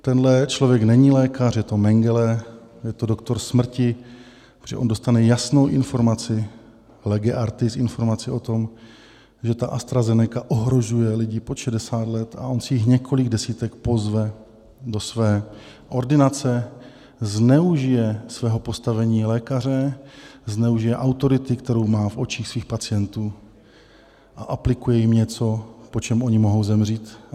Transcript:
Tento člověk není lékař, je to Mengele, je to doktor smrti, protože on dostane jasnou informaci lege artis, informaci o tom, že ta AstraZeneca ohrožuje lidi pod 60 let, a on si jich několik desítek pozve do své ordinace, zneužije svého postavení lékaře, zneužije autority, kterou má v očích svých pacientů, a aplikuje jim něco, po čem oni mohou zemřít.